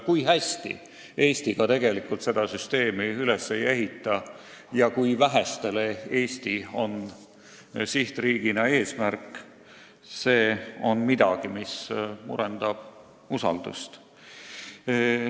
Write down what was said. Kui hästi Eesti seda süsteemi ka üles ei ehitaks – ja kui väheste jaoks on Eesti tegelikult sihtriigina eesmärk –, on see midagi, mis murendab usaldust.